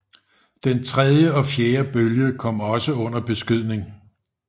Den tredje og fjerde bølge kom også under beskydning